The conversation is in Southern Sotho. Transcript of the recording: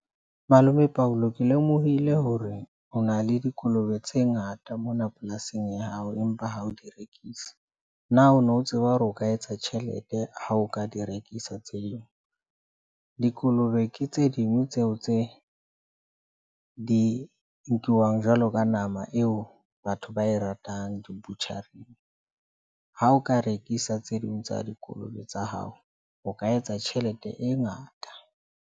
Malome Paulo ke lemohile hore o na le dikolobe tse ngata mona polasing ya hao, empa ha o di rekise. Na o no tseba hore o ka etsa tjhelete ha o ka di rekisa tse ding? dikolobe ke tse ding tseo tse di nkiwang jwalo ka nama eo batho ba e ratang, di butcher-ra. Ha o ka rekisa tse ding tsa dikolobe tsa hao, o ka etsa tjhelete e ngata.